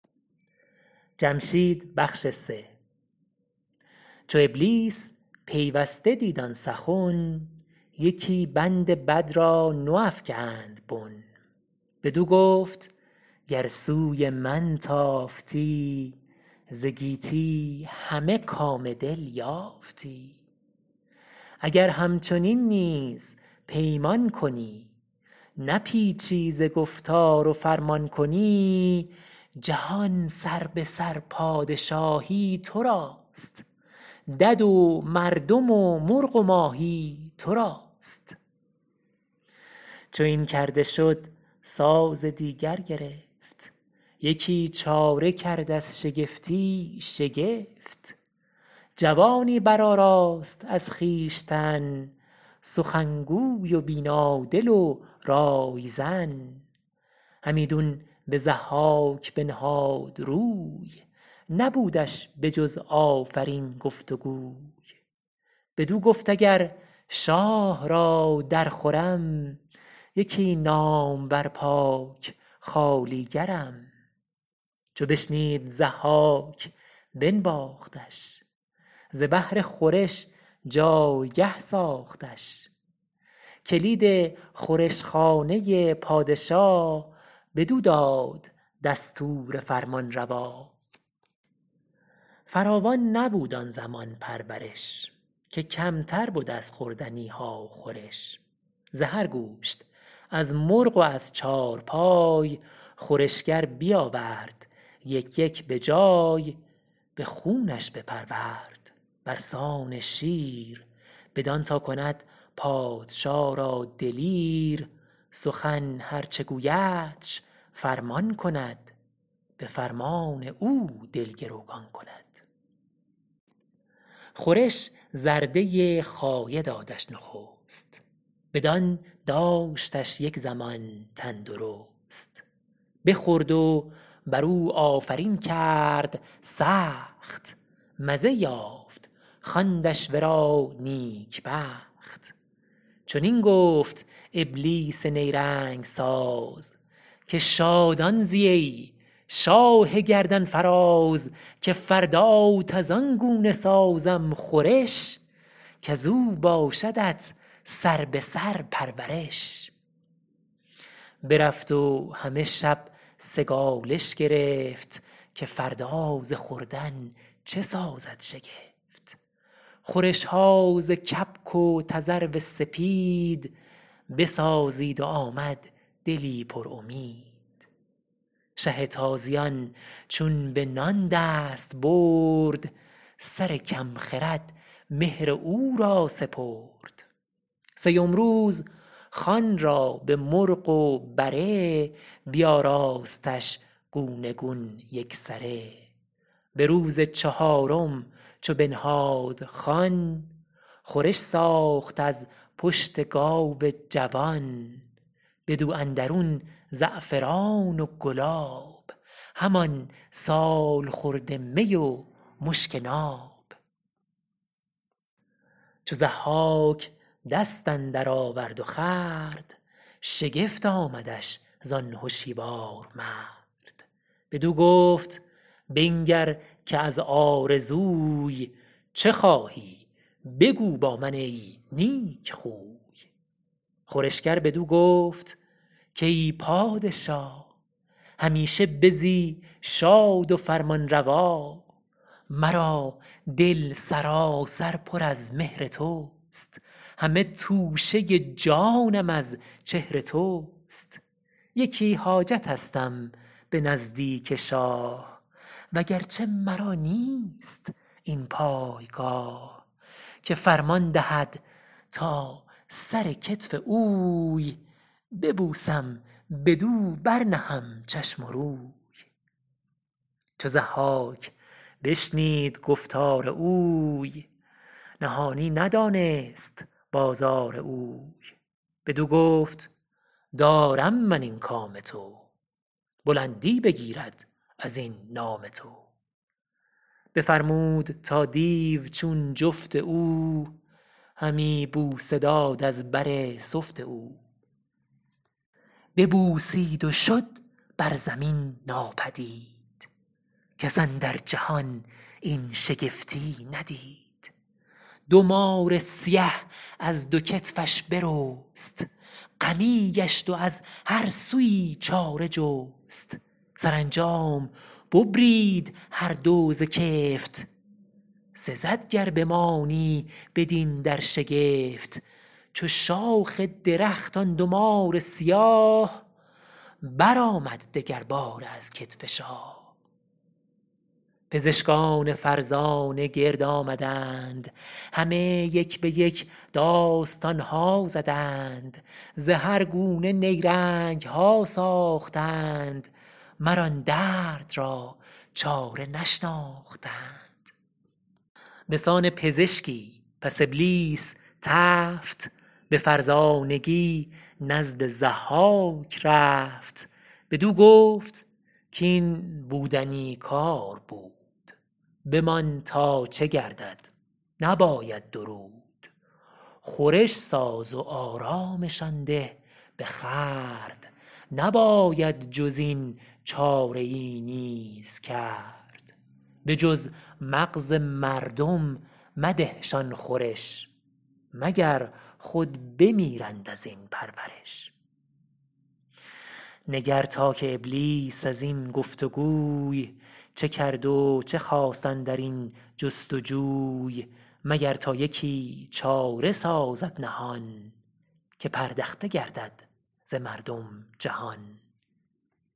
چو ابلیس پیوسته دید آن سخن یکی بند بد را نو افگند بن بدو گفت گر سوی من تافتی ز گیتی همه کام دل یافتی اگر همچنین نیز پیمان کنی نپیچی ز گفتار و فرمان کنی جهان سربه سر پادشاهی تو راست دد و مردم و مرغ و ماهی تو راست چو این کرده شد ساز دیگر گرفت یکی چاره کرد از شگفتی شگفت جوانی برآراست از خویشتن سخنگوی و بینا دل و رایزن همیدون به ضحاک بنهاد روی نبودش به جز آفرین گفت و گوی بدو گفت اگر شاه را در خورم یکی نامور پاک خوالیگرم چو بشنید ضحاک بنواختش ز بهر خورش جایگه ساختش کلید خورش خانه پادشا بدو داد دستور فرمانروا فراوان نبود آن زمان پرورش که کمتر بد از خوردنی ها خورش ز هر گوشت از مرغ و از چارپای خورشگر بیاورد یک یک به جای به خونش بپرورد بر سان شیر بدان تا کند پادشا را دلیر سخن هر چه گویدش فرمان کند به فرمان او دل گروگان کند خورش زرده خایه دادش نخست بدان داشتش یک زمان تندرست بخورد و بر او آفرین کرد سخت مزه یافت خواندش ورا نیک بخت چنین گفت ابلیس نیرنگ ساز که شادان زی ای شاه گردنفراز که فردات از آن گونه سازم خورش کز او باشدت سربه سر پرورش برفت و همه شب سگالش گرفت که فردا ز خوردن چه سازد شگفت خورش ها ز کبک و تذرو سپید بسازید و آمد دلی پر امید شه تازیان چون به نان دست برد سر کم خرد مهر او را سپرد سیم روز خوان را به مرغ و بره بیاراستش گونه گون یک سره به روز چهارم چو بنهاد خوان خورش ساخت از پشت گاو جوان بدو اندرون زعفران و گلاب همان سالخورده می و مشک ناب چو ضحاک دست اندر آورد و خورد شگفت آمدش زان هشیوار مرد بدو گفت بنگر که از آرزوی چه خواهی بگو با من ای نیک خوی خورشگر بدو گفت کای پادشا همیشه بزی شاد و فرمانروا مرا دل سراسر پر از مهر تو است همه توشه جانم از چهر تو است یکی حاجتستم به نزدیک شاه و گرچه مرا نیست این پایگاه که فرمان دهد تا سر کتف اوی ببوسم بدو بر نهم چشم و روی چو ضحاک بشنید گفتار اوی نهانی ندانست بازار اوی بدو گفت دارم من این کام تو بلندی بگیرد از این نام تو بفرمود تا دیو چون جفت او همی بوسه داد از بر سفت او ببوسید و شد بر زمین ناپدید کس اندر جهان این شگفتی ندید دو مار سیه از دو کتفش برست غمی گشت و از هر سویی چاره جست سرانجام ببرید هر دو ز کفت سزد گر بمانی بدین در شگفت چو شاخ درخت آن دو مار سیاه برآمد دگر باره از کتف شاه پزشکان فرزانه گرد آمدند همه یک به یک داستان ها زدند ز هر گونه نیرنگ ها ساختند مر آن درد را چاره نشناختند به سان پزشکی پس ابلیس تفت به فرزانگی نزد ضحاک رفت بدو گفت کاین بودنی کار بود بمان تا چه گردد نباید درود خورش ساز و آرامشان ده به خورد نباید جز این چاره ای نیز کرد به جز مغز مردم مده شان خورش مگر خود بمیرند از این پرورش نگر تا که ابلیس از این گفت وگوی چه کرد و چه خواست اندر این جستجوی مگر تا یکی چاره سازد نهان که پردخته گردد ز مردم جهان